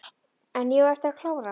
En ég á eftir að klára.